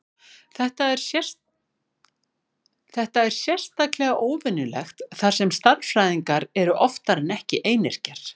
Þetta er sérstaklega óvenjulegt þar sem stærðfræðingar eru oftar en ekki einyrkjar.